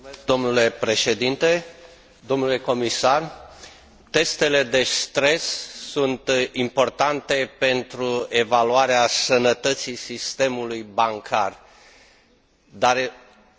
Testele de stres sunt importante pentru evaluarea sănătății sistemului bancar, dar sunt necesare două condiții, și sunt esențiale.